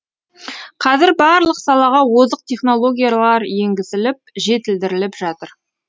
қазір барлық салаға озық технологиялар енгізіліп жетілдіріліп жатыр